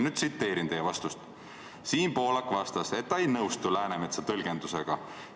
Nüüd tsiteerin: "Siim Pohlak vastas, et ta ei nõustu L. Läänemetsa tõlgendusega.